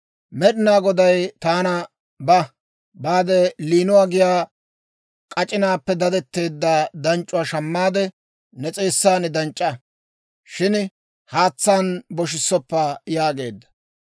Med'inaa Goday taana, «Ba; baade layinuwaa giyaa k'ac'inaappe dadetteedda danc'c'uwaa shammaade, ne s'eessan danc'c'a; shin haatsaan boshissoppa» yaageedda.